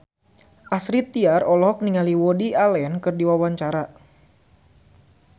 Astrid Tiar olohok ningali Woody Allen keur diwawancara